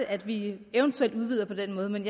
at vi eventuelt udvider på den måde men